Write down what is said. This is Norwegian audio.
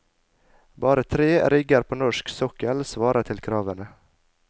Bare tre rigger på norsk sokkel svarer til kravene.